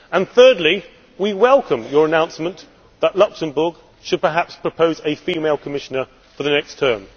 Thirdly, we welcome your announcement that Luxembourg should perhaps propose a female Commissioner for the next term.